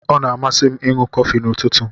O na amasi 'm ịṅụ kofi na ụtụtụ.